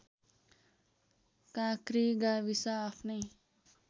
काँक्री गाविस आफ्नै